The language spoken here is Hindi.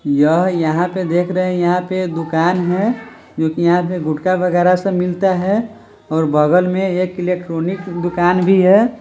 यह यहाँ पे देख रहे है यहाँ पे दुकान है जो की यहाँ पे गुटका वगेरा सब मिलता है और बगल में एक इलेक्ट्रॉनिक दुकान भी है।